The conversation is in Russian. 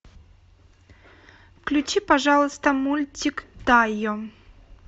включи пожалуйста мультик тайо